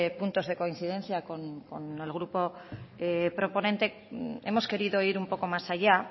puntos de coincidencia con el grupo proponente hemos querido ir un poco más allá